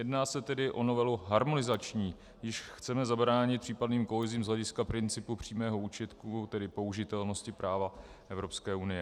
Jedná se tedy o novelu harmonizační, jíž chceme zabránit případným kolizím z hlediska principu přímého účinku, tedy použitelnosti práva Evropské unie.